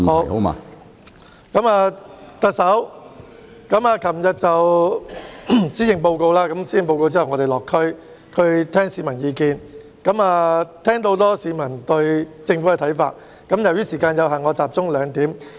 特首昨天發表施政報告後，我們到地區聆聽市民意見，聽到很多市民對政府的看法，由於時間有限，我集中提出兩點。